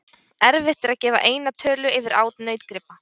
Erfitt er að gefa eina tölu yfir át nautgripa.